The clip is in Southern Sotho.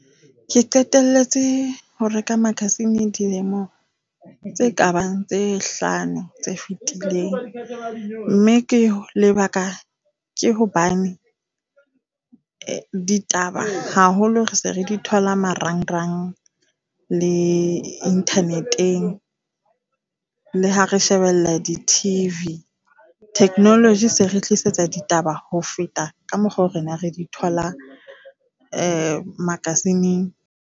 Ke qetelletse ho reka makasine dilemo tse kabang tse hlano tse fetileng, mme ke lebaka ke hobane ditaba haholo re se re di thola marangrang le internet-eng le ha re shebella di-T_V. Technology se re tlisetsa ditaba ho feta ka mokgwa rona re di tholang makasineng.